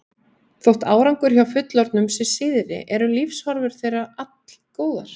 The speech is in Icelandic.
Þótt árangur hjá fullorðnum sé síðri eru lífshorfur þeirra allgóðar.